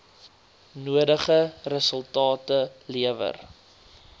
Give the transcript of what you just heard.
nodige resultate lewer